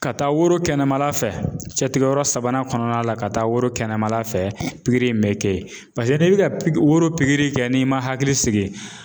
Ka taa woro kɛnɛmala fɛ cɛtigɛ yɔrɔ sabanan kɔnɔna la ka taa woro kɛnɛma fɛ pikiri in bɛ kɛ yen paseke n'i bɛ ka woro pikiri kɛ n'i man hakili sigi